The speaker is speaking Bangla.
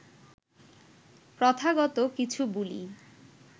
প্রথাগত কিছু বুলি